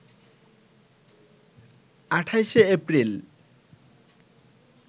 ২৮ April